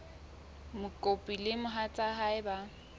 mokopi le mohatsa hae ba